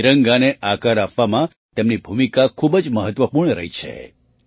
તિરંગાને આકાર આપવામાં તેમની ભૂમિકા ખૂબ જ મહત્ત્વપૂર્ણ રહી છે